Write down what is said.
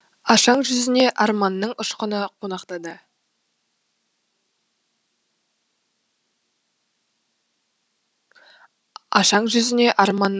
ашаң жүзіне арманның ұшқыны қонақтады